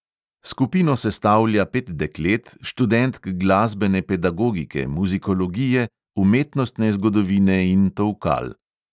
Skupino sestavlja pet deklet, študentk glasbene pedagogike, muzikologije, umetnostne zgodovine in tolkal.